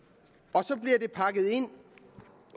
og så bliver det pakket ind